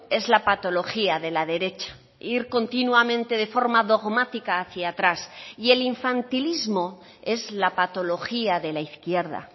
es la patología de la derecha ir continuamente de forma dogmática hacia atrás y el infantilismo es la patología de la izquierda